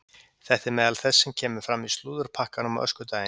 Þetta er meðal þess sem kemur fram í slúðurpakkanum á öskudaginn.